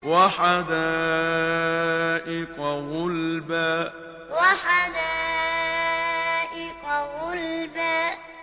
وَحَدَائِقَ غُلْبًا وَحَدَائِقَ غُلْبًا